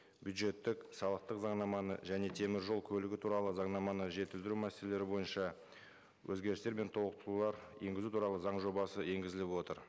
бюджеттік салықтық заңнаманы және теміржол көлігі туралы заңнаманы жетілдіру мәселелері бойынша өзгерістер мен толықтырулар енгізу туралы заң жобасы енгізіліп отыр